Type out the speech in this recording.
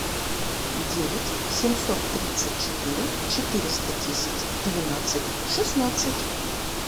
девять семьсот тридцать четыре четыреста десять двенадцать шестнадцать